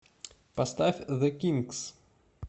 поставь зе кинкс